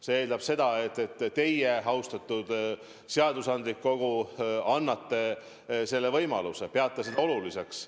See eeldab seda, et teie, austatud seadusandlik kogu, annate selle võimaluse, peate seda oluliseks.